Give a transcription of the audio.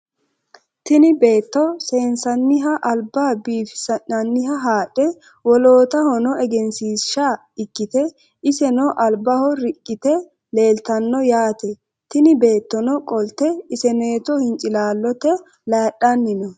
Tini beeto seensaniha alba biifisinaniha haadhe wolootahono egenshiisha ikite iseno albaho riqqite leeltano yaate tini beetono qolte isenooto hincilaalote layidhani no.